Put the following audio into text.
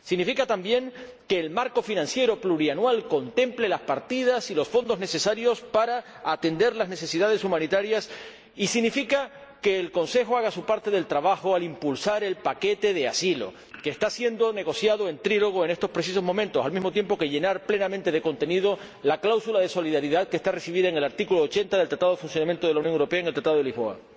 Significa también que el marco financiero plurianual contemple las partidas y los fondos necesarios para atender las necesidades humanitarias, y significa que el Consejo haga su parte del trabajo al impulsar el paquete de asilo, que está siendo negociado en trílogo en estos precisos momentos, al mismo tiempo que debe dotarse plenamente de contenido a la cláusula de solidaridad contemplada en el artículo 80 del Tratado de Funcionamiento de la Unión Europea y en el Tratado de Lisboa.